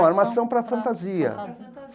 Armação para fantasia.